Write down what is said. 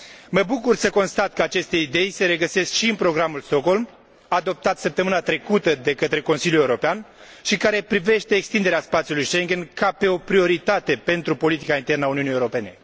Mă bucur să constat că aceste idei se regăsesc și în Programul Stockholm, adoptat săptămâna trecută de Consiliul European și care privește extinderea spațiului Schengen ca pe o prioritate pentru politica internă a Uniunii Europene